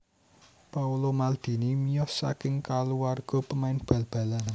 Paolo Maldini miyos saking kulawarga pemain bal balan